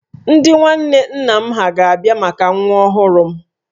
Ndị nwanne nna m ha ga-abịa maka nwa ọhụrụ m